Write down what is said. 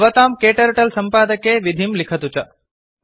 भवतां क्टर्टल सम्पादके विधिं लिखतु च